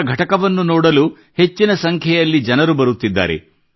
ಅವರ ಘಟಕವನ್ನು ನೋಡಲು ಹೆಚ್ಚಿನ ಸಂಖ್ಯೆಯ ಜನರು ಬರುತ್ತಿದ್ದಾರೆ